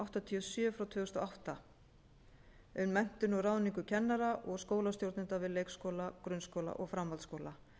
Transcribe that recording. áttatíu og sjö tvö þúsund og átta um menntun og ráðningu kennara og skólastjórnenda við leikskóla grunnskóla og framhaldsskóla